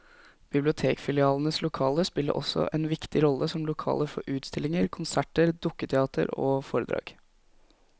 Bibliotekfilialenes lokaler spiller også en viktig rolle som lokaler for utstillinger, konserter, dukketeater og foredrag.